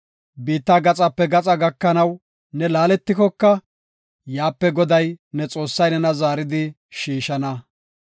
Biitta gaxape gaxa gakanaw ne laaletikoka, yaape Goday, ne Xoossay nena zaaridi shiishana.